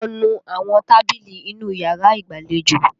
Lọ nu àwọn tábìlì inú yàrá ìgbàlejò!